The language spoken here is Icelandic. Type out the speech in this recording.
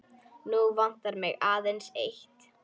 Nú vantar mig aðeins eitt!